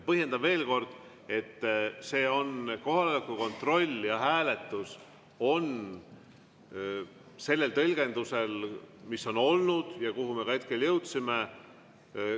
Põhjendan veel kord, et see on kohaloleku kontroll ja hääletus selle tõlgenduse järgi, mis on olnud ja kuhu me ka hetkel jõudsime.